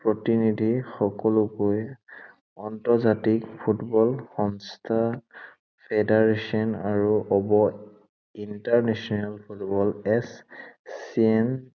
প্ৰতিনিধি সকলোকে আন্তৰ্জাতিক ফুটবল সংস্থা federation আৰু হব international ফুটবল এছ চিয়েন